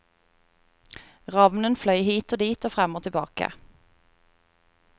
Ravnen fløy hit og dit og frem og tilbake.